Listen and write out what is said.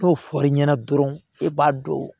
N'o fɔr'i ɲɛna dɔrɔn i b'a don